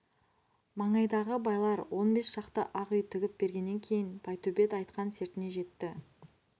маңайдағы байлар он бес шақты ақ үй тігіп бергеннен кейін байтөбет айтқан сертіне жетті